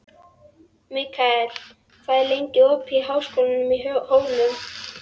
Mikkel, hvað er lengi opið í Háskólanum á Hólum?